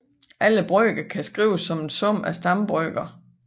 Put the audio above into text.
Alle brøker kan skrives som en sum af stambrøker